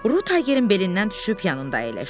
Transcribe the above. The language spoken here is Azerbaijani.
Ru Taygerin belindən düşüb yanında əyləşdi.